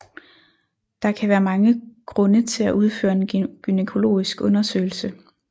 Der kan være mange grunde til at udføre en gynækologisk undersøgelse